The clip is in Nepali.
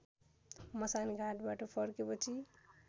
मसान घाटबाट फर्केपछि